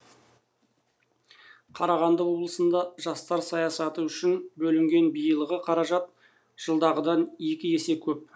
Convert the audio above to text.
қарағанды облысында жастар саясаты үшін бөлінген биылғы қаражат жылдағыдан екі есе көп